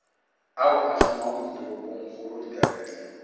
ao a šomang ditoropongkgolo dikabelo